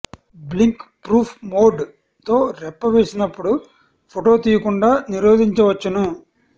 blink proof mode తో రెప్ప వేసినప్పుడు ఫోటో తీయకుండా నిరోధించవచ్చును